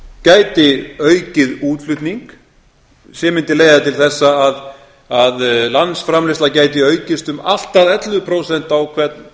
gæti aukið útflutning sem mundi leiða til þess að landsframleiðsla gæti aukist um allt að ellefu prósent á hvern